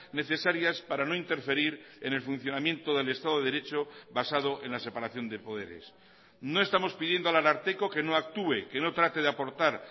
necesarias para no interferir en el funcionamiento del estado de derecho basado en la separación de poderes no estamos pidiendo al ararteko que no actúe que no trate de aportar